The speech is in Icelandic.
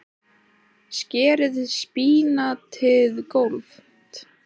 Skerið spínatið gróft.